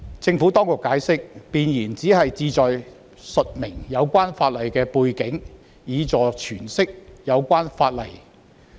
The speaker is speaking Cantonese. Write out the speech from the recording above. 政府當局解釋，弁言僅旨在述明有關法例的背景，以助詮釋有關法例。